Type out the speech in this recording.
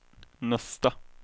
nästa